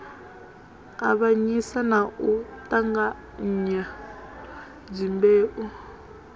avhanyisa na u ṱanganya dzimbeu